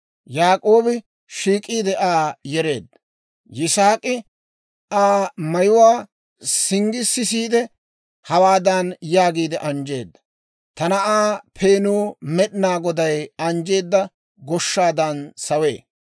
Yaak'oobi shiik'iide Aa yereedda; Yisaak'i Aa mayuwaa singgi sisiide, hawaadan yaagiide anjjeedda; «Ta na'aa peenuu Med'inaa Goday anjjeedda goshshaadan sawee.